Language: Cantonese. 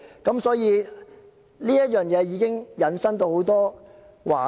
因此，這已經引申到很多話題。